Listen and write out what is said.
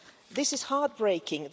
This is heart-breaking.